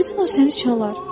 Birdən o səni çalar.